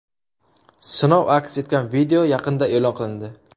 Sinov aks etgan video yaqinda e’lon qilindi.